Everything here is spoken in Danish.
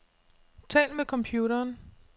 Tal med computeren.